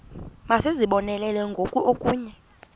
masizibonelele ngoku okanye